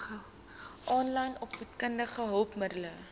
aanlyn opvoedkundige hulpmiddele